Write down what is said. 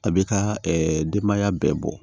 A b'i ka denbaya bɛɛ bɔ